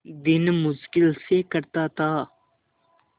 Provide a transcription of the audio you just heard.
दिन मुश्किल से कटता था